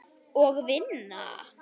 Og vinna.